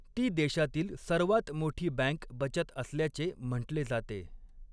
ती देशातील सर्वात मोठी बँक बचत असल्याचे म्हटले जाते.